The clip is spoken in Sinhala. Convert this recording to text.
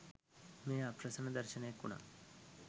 මෙය අප්‍රසන්න දර්ශනයක් වුනා.